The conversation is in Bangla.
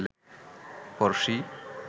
পরশী